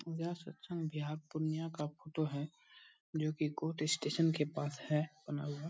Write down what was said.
यह सत्संग पूर्णिया का फोटो है जोकि कोर्ट स्टेशन के पास है बना हुआ |